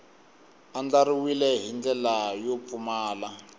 andlariwile hi ndlela yo pfumala